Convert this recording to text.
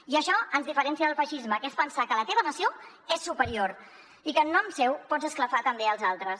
i això ens diferencia del feixisme que és pensar que la teva nació és superior i que en nom seu pots esclafar també els altres